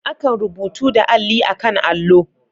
Akan rubutu da Alli a'kan allo.